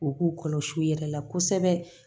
U k'u kɔlɔsi u yɛrɛ la kosɛbɛ